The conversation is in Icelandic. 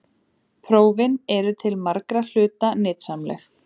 Prófin eru til margra hluta nytsamleg.